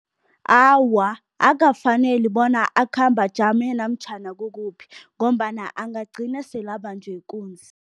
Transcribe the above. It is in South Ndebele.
Awa, akukafaneli bona akhambe ajame namtjhana kukukuphi ngombana angagcina sele abanjwe ikunzi.